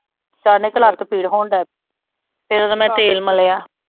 ਅਚਾਨਕ ਲੱਤ ਪੀੜ ਹੋਣ ਡਿਆ, ਫਿਰ ਉਦੋਂ ਮੈਂ ਤੇਲ ਮਲਿਆ।